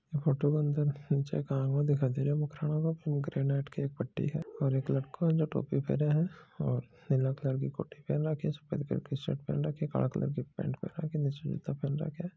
और एक लड़का है जो टोपी पहेना है नील कलर की कोटि पहेन रखी सफ़ेद कलर की शर्ट पहेन रखी काला कलर की पेंट पहेन रखी निच जूता पहन राखा है।